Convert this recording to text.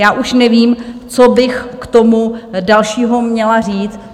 Já už nevím, co bych k tomu dalšího měla říct.